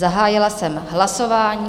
Zahájila jsem hlasování.